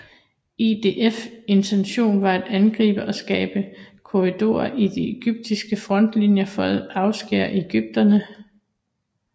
IDFs intention var at angribe og skabe korridorer i de egyptiske frontlinjer for at afskære egypterne